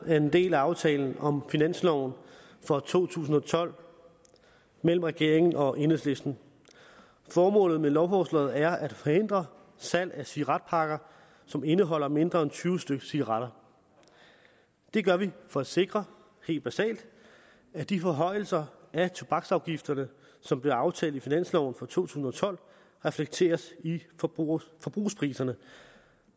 er en del af aftalen om finansloven for to tusind og tolv mellem regeringen og enhedslisten formålet med lovforslaget er at forhindre salg af cigaretpakker som indeholder mindre end tyve stykke cigaretter det gør vi for at sikre helt basalt at de forhøjelser af tobaksafgifterne som blev aftalt i finansloven for to tusind og tolv reflekteres i forbrugerpriserne